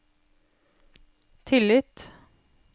tillit